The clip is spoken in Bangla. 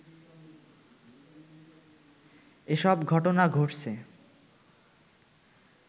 এসব ঘটনা ঘটছে